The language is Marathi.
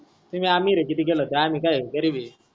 तुम्ही आमीर आहे कितीही केल तर, आम्ही काय गरीब आहे.